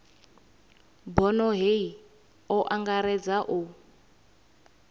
bono hei o angaredza u